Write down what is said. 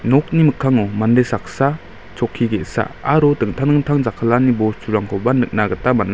nokni mikkango mande saksa chokki ge·sa aro dingtang dingtang jakkalani bosturangkoba nikna gita man·a.